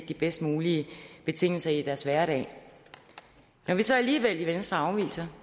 de bedst mulige betingelser i deres hverdag når vi så alligevel i venstre afviser